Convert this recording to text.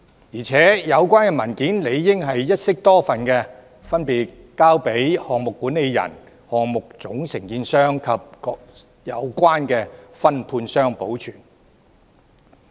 而且，有關文件理應一式多份，分別交由項目管理人、項目總承建商和各有關分判商保存。